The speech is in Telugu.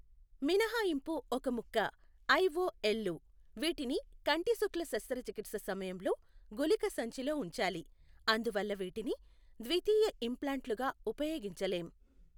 మినహాయింపు ఒక ముక్క ఐఓఎల్లు, వీటిని కంటిశుక్ల శస్త్రచికిత్స సమయంలో గుళిక సంచిలో ఉంచాలి, అందువల్ల వీటిని ద్వితీయ ఇంప్లాంట్లుగా ఉపయోగించలేం.